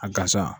A gansan